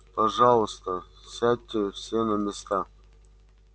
пожалуйста сядьте все на места